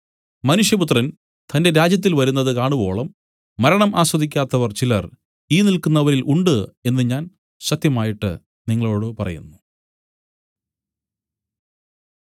മനുഷ്യപുത്രൻ തന്റെ രാജ്യത്തിൽ വരുന്നത് കാണുവോളം മരണം ആസ്വദിക്കാത്തവർ ചിലർ ഈ നില്ക്കുന്നവരിൽ ഉണ്ട് എന്നു ഞാൻ സത്യമായിട്ട് നിങ്ങളോടു പറയുന്നു